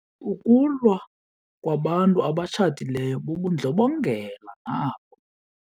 Ukulwa kwabantu abatshatileyo bubundlobongela nabo.